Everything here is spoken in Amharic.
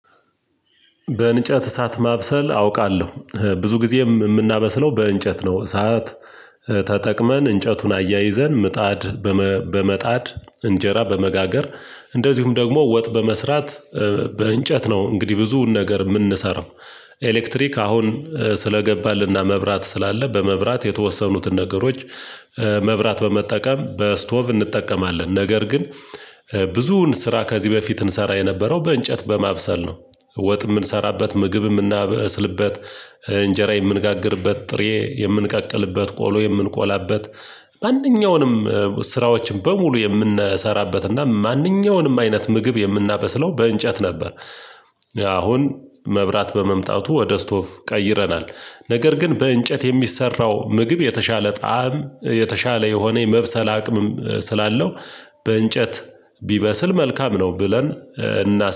በእንጨት እሳት ማብሰል አውቃለሁ ብዙ ጊዜ የምናበስለው በእንጨት ነው እሳት ተጠቅመን እንጨቱን አያይዘን ምጣድ በመጣድ እንጀራ በመጋገር እንደዚሁም ደግሞ ወጥ በመስራት። በእንጨት ነው እንግዲህ ብዙ ነገር የምንሰራው። ኤሌክትሪክ አሁን ስለገባልና መብራት ስላለ በመብራት የተወሰኑትን ነገሮች መብራት በመጠቀም በስቶቭ እንጠቀማለን ነገር ግን ብዙውን ስራ ከዚህ በፊት እንሰራ የነበረው በእንጨት በማብሰል ነው። ወጥ የምንሰራበት ምግብም ምናበስልበት እንጀራ የምንጋግርበት ጥሬ የምንቀቅልበት ቆሎ የምንቆላበት ማንኛውንም ስራዎችን በሙሉ የምንሰራበትና ማንኛውንም አይነት ምግብ የምናበስለው በእንጨት ነበር። አሁን መብራት በመምጣቱ ወደ ስቶቭ ቀይረናል። ነገር ግን በእንጨት የሚሰራው ምግብ የተሻለ ጣዕም የተሻለ የሆነ የመብሰል አቅምም ስላለው በእንጨት ቢበስል መልካም ነው ብለን። እና